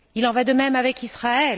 Il en va de même avec Israël.